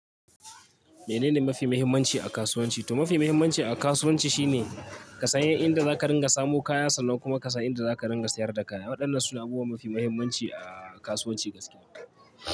Menene mafi muhimmanci a kasuwanci? To mafi muhimmanci a kasuwanci shine ka san inda za ka dinga samo kayan sannan kuma ka san inda za ka dinga sayar da kaya. Waɗannan suna abubuwa mafi muhimmanci a kasuwanci gaskiya.